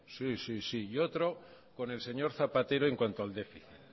sí sí y otro con el señor zapatero en cuanto al déficit